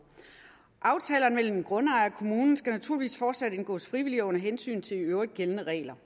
aftaler mellem grundejer og kommunen skal naturligvis fortsat indgås frivilligt under hensyn til i øvrigt gældende regler